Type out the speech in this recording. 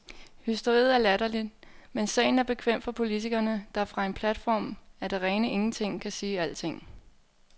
Hysteriet er latterligt, men sagen er bekvem for politikerne, der fra en platform af det rene ingenting kan sige alting.